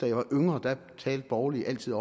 jeg var yngre at borgerlige altid